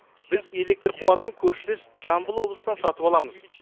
біз электр қуатын көршілес жамбыл облысынан сатып аламыз